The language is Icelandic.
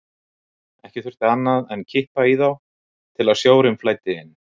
Ekki þurfti annað en kippa í þá til að sjórinn flæddi inn.